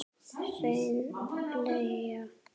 Hrein bleia